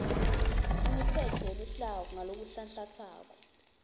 imitsetfo yeluhlaka ngalokunhlanhlantsako